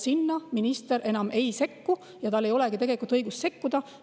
Sinna minister enam ei sekku ja tal ei olegi õigust sekkuda.